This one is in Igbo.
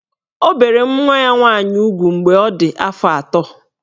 O bere nwa ya nwaanyị ugwu mgbe ọ dị afọ atọ.